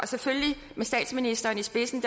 selvfølgelig med statsministeren i spidsen